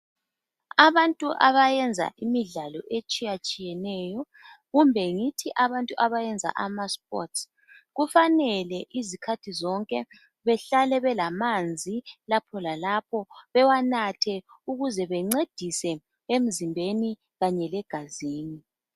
Abantu abayenza imidlalo etshiyatshiyeneyo kumbe ngithi abantu abayenza ama sports kufanele izikhathi zonke behlale belamanzi lapho lalapho bewanathe ukuze bencedise emzimbeni kanye legazini.